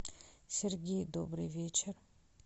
сергей добрый вечер